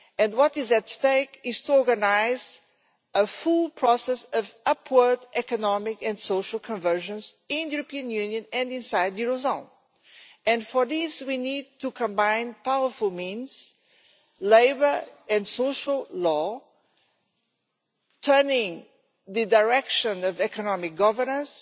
What is at stake is to organise a full process of upward economic and social convergence in the European Union and inside the eurozone. In order to do this we need to combine powerful means labour and social law, changing the direction of economic governance,